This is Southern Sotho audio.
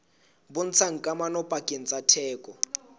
bontshang kamano pakeng tsa theko